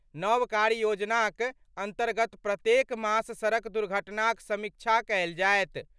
नव कार्य योजनाक अन्तर्गत प्रत्येक मास सड़क दुर्घटनाक समीक्षा कयल जायत।